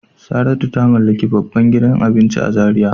Saratu ta mallaki babban gidan abinci a Zaria.